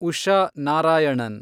Usha Narayanan